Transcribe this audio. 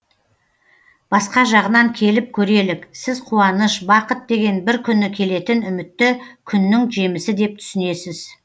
басқа жағынан келіп көрелік сіз қуаныш бақыт деген бір күні келетін үмітті күннің жемісі деп түсінесіз